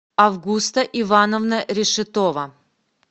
августа ивановна решетова